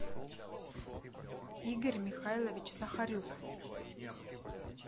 игорь михайлович сахарюк